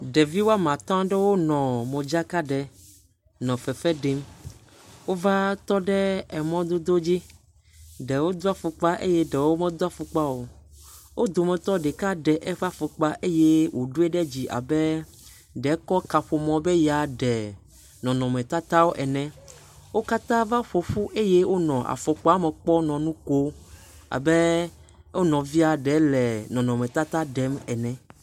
Ɖevi wo ame atɔ aɖewo nɔ modzaka ɖem nɔ fefe ɖem. Wova tɔ ɖe mɔdodo dzi. Ɖewo do afɔkpa eye ɖewo medo afɔkpa o. Wo dometɔ ɖeka ɖe eƒe afɔkpa eye wodui ɖe dzi abe ɖe woka kaƒomɔ be yeaɖe nɔnɔmetata ene. Wo katã va ƒo ƒu eye wonɔ afɔkpa me kpɔm nɔ nu kom abe wonɔvie ɖe wòle nɔnɔmetata ɖem ene.